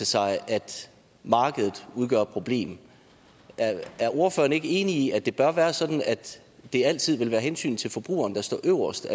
sig at markedet udgør et problem er ordføreren ikke enig i at det bør være sådan at det altid vil være hensynet til forbrugeren der står øverst